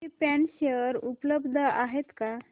krypton share उपलब्ध आहेत का